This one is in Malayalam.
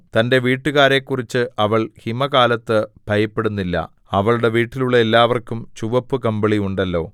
തന്റെ വീട്ടുകാരെക്കുറിച്ച് അവൾ ഹിമകാലത്ത് ഭയപ്പെടുന്നില്ല അവളുടെ വീട്ടിലുള്ള എല്ലാവർക്കും ചുവപ്പു കമ്പിളി ഉണ്ടല്ലോ